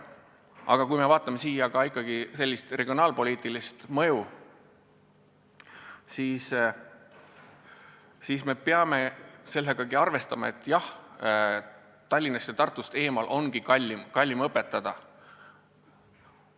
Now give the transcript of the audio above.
Aga kui me tahame silmas pidada regionaalpoliitilist mõju, siis me peame sellega arvestama, et jah, Tallinnast ja Tartust eemal ongi kallim õpetada.